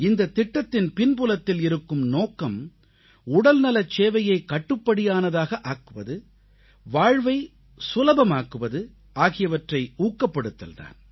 இந்தத் திட்டத்தின் பின்புலத்தில் இருக்கும் நோக்கம் உடல்நலச் சேவையை கட்டுப்படியானதாக ஆக்குவது வாழ்வை எளிமையாக்குவது ஆகியவற்றை ஊக்கப்படுத்தல் தான்